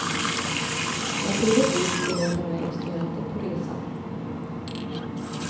Naturligtvis skulle hon ta med instrumentet på resan.